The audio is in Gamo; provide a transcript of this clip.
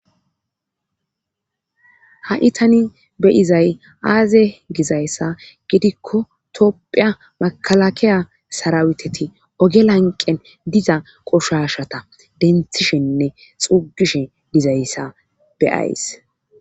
ha7itani beizay aaze gizayssa gidikko topphiya makalakeya saraweteti ogelanqen diza qoshashata denthishinne xuugishe dizayssa beyays